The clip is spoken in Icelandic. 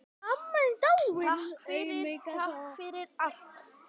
Takk fyrir, takk fyrir allt.